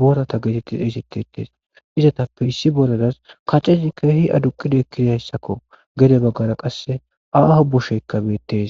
boorata geetettis eysetetes izatappe issi boradas kacezi kahi aduqida ekkiridayssakko gede baggara qasse aaho bosheykka beettes.